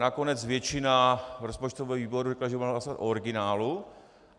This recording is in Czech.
Nakonec většina rozpočtového výboru řekla, že budeme hlasovat o originálu.